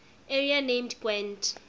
area named gwent